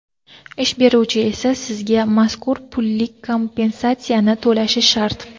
Ish beruvchi esa sizga mazkur pullik kompensatsiyani to‘lashi shart.